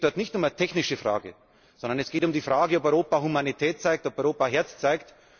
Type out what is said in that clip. Es geht dort nicht um eine technische Frage, sondern es geht um die Frage, ob Europa Humanität zeigt, ob Europa Herz zeigt!